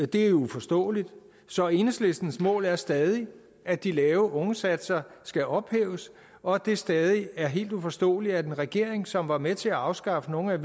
det er uforståeligt så enhedslistens mål er stadig at de lave ungesatser skal ophæves og at det stadig er helt uforståeligt at en regering som var med til at afskaffe nogle af